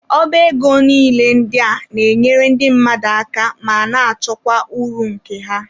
Ọba ego niile ndị a na-enyere ndị mmadụ aka ma na-achọkwa uru nke ha.